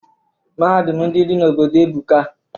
Mahadum ndị dị n'obodo ebuka.